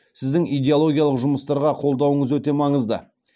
сіздің идеологиялық жұмыстарға қолдауыңыз өте маңызды